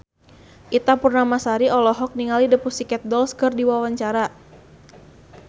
Ita Purnamasari olohok ningali The Pussycat Dolls keur diwawancara